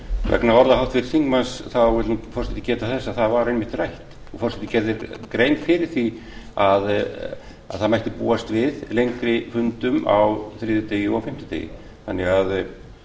vegna orða háttvirts þingmanns vill forseti geta þess að það var einmitt rætt og forseti gerði grein fyrir því að það mætti búast við lengri fundum á þriðjudegi og fimmtudegi þannig að